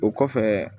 O kɔfɛ